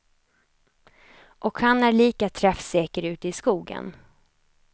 Och han är lika träffsäker ute i skogen.